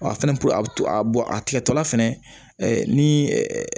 A fɛnɛ a bɛ a bɔn a tigɛtɔla fɛnɛ ni